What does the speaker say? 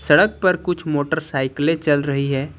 सड़क पर कुछ मोटर साइकिलें चल रही है।